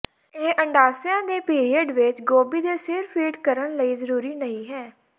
ਇਹ ਅੰਡਾਸ਼ਯ ਦੇ ਪੀਰੀਅਡ ਵਿੱਚ ਗੋਭੀ ਦੇ ਸਿਰ ਫੀਡ ਕਰਨ ਲਈ ਜ਼ਰੂਰੀ ਨਹੀ ਹੈ